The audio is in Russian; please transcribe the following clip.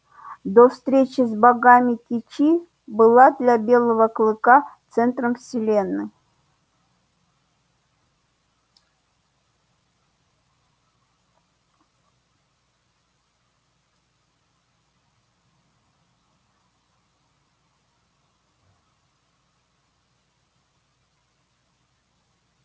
до встречи с богами кичи была для белого клыка центром вселенной